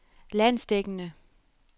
landsdækkende